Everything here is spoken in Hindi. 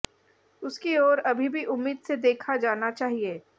उसकी ओर अभी भी उम्मीद से देखा जाना चाहिए